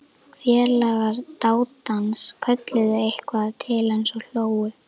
Félagar dátans kölluðu eitthvað til hans og hlógu.